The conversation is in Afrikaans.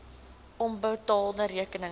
onbetaalde rekeninge